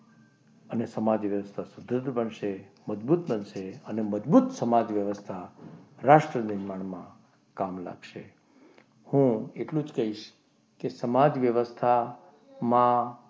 અને સમાજ વ્યવસ્થા બનશે મજબૂત બનશે અને મજબૂત સમાજ વ્યવસ્થા રાષ્ટ્રનિર્માણ માં કામ લાગશે. હું એટલું જ કહીશ કે સમાજ વ્યવસ્થા માં